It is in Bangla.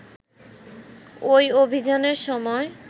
ঐ অভিযানের সময়